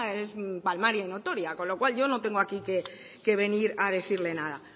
es palmaria y notoria con lo cual yo no tengo aquí que venir a decirle nada